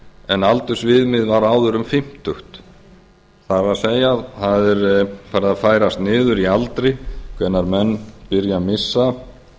en aldursviðmið var áður um fimmtugt það er það er farið að færast niður í aldri hvenær menn byrja að missa